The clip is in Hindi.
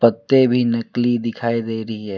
पत्ते भी नकली दिखाई दे रही है।